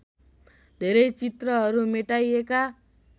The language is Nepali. धेरै चित्रहरू मेटाइएका